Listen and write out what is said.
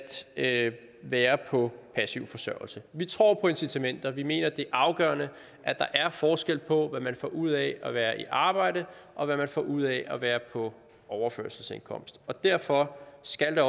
at være på passiv forsørgelse vi tror på incitamenter vi mener det er afgørende at der er forskel på hvad man får ud af at være i arbejde og hvad man får ud af at være på overførselsindkomst derfor skal der